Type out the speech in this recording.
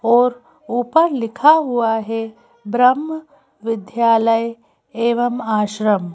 और ऊपर लिखा हुआ है ब्रह्म विद्यालय एवं आश्रम --